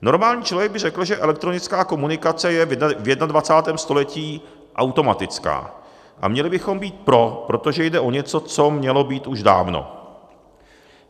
Normální člověk by řekl, že elektronická komunikace je v 21. století automatická a měli bychom být pro, protože jde o něco, co mělo být už dávno.